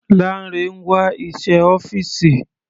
Lanre ń wá iṣẹ́ ọ́fìsì.